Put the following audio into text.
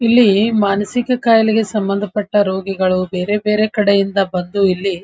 ಇಲ್ಲಿ ಮಾನಸಿಕ ಕಾಯ್ಲೆ ಸಂಬಂದಪಟ್ಟ ರೋಗಿಗಳು ಬೇರೆ ಬೇರೆ ಕಡೆ ಇಂದ ಬಂದು ಇಲ್ಲಿ‌ --